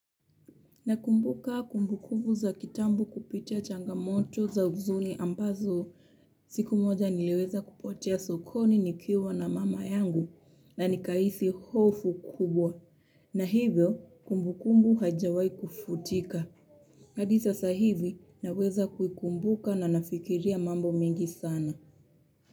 Nakumbuka kumbukumbu za kitambo kupitia changamoto za huzuni ambazo siku moja nileweza kupotea sokoni nikiwa na mama yangu na nikahisi hofu kubwa. Na hivyo kumbukumbu hajawai kufutika. Hadi sasa hivi naweza kuikumbuka na nafikiria mambo mengi sana.